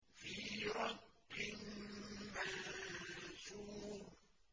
فِي رَقٍّ مَّنشُورٍ